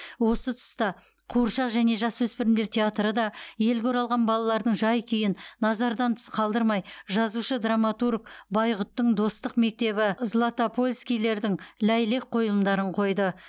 осы тұста қуыршақ және жасөспірімдер театры да елге оралған балалардың жай күйін назардан тыс қалдырмай жазушы драматург байғұттың достық мектебі златопольскийлердің ләйлек қойылымдарын қойды